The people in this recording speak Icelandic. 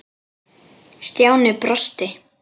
Stjáni brosti.